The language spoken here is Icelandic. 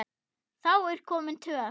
Þá er komin töf.